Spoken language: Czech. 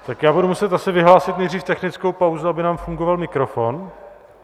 Tak já budu muset asi vyhlásit nejdříve technickou pauzu, aby nám fungoval mikrofon.